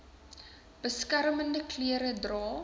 beskermende klere dra